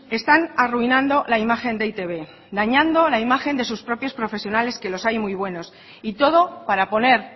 están arruinando la imagen de e i te be dañando la imagen de sus propios profesionales que los hay y muy buenos y todo para poner